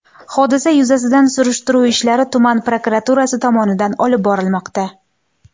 Hodisa yuzasidan surishtiruv ishlari tuman prokuraturasi tomonidan olib borilmoqda.